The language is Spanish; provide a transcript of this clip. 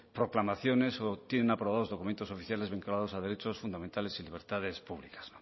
proclamaciones o tienen aprobados documentos oficiales vinculados a derechos fundamentales y libertades públicas